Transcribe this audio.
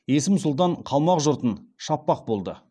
есім сұлтан қалмақ жұртын шаппақ болды